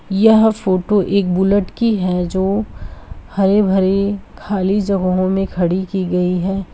यह फोटो एक बुलेट की है जो हरे भरे खाली जगहों में ख़ड़ी की गई है |